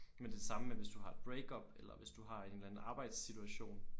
Men det er det samme med hvis du har et break up eller hvis du har en eller anden arbejdssituation